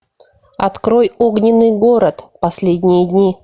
открой огненный город последние дни